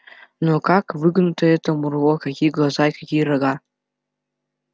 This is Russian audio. но как выгнуто это мурло какие глаза и какие рога